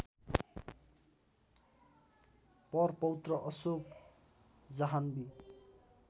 परपौत्र Ashok Janhvi